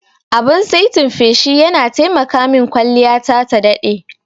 Abin saitin feshi yana taimaka min kwalliyata ta daɗe.